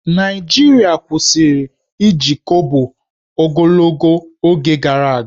Naịjirịa kwụsịrị iji Kobo ogologo oge gara aga